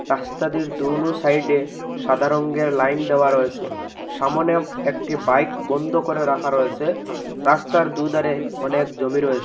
রাস্তাদির দোনো সাইডে সাদা রংয়ের লাইন দেওয়া রয়েসে সামোনে একটি বাইক বন্ধ করে রাখা রয়েসে রাস্তার দুধারে অনেক জমি রয়েসে।